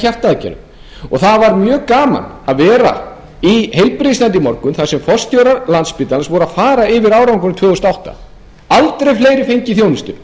hjartaaðgerð það var mjög gaman að vera í heilbrigðisnefnd í morgun þar sem forstjórar landspítalans voru að fara yfir árangurinn tvö þúsund og átta aldrei fleiri fengið